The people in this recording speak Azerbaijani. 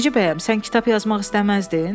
Necə bəyəm, sən kitab yazmaq istəməzdin?